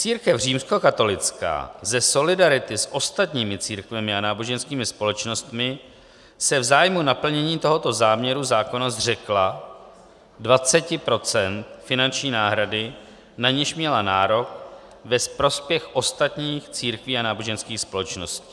Církev římskokatolická ze solidarity s ostatními církvemi a náboženskými společnostmi se v zájmu naplnění tohoto záměru zákona zřekla 20 % finanční náhrady, na niž měla nárok, ve prospěch ostatních církví a náboženských společností.